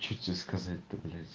что тебе сказать-то блять